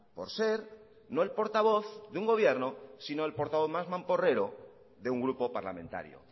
por ser no el portavoz de un gobierno sino el portavoz más mamporrero de un grupo parlamentario